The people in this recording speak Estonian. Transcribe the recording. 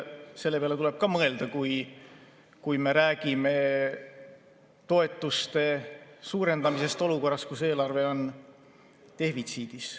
Selle peale tuleb mõelda, kui me räägime toetuste suurendamisest olukorras, kus eelarve on defitsiidis.